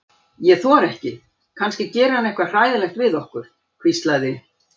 Ég þori ekki, kannski gerir hann eitthvað hræðilegt við okkur. hvíslaði